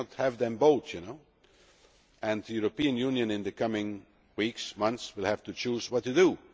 You cannot have them both and the European Union in the coming weeks, months, will have to choose what to do.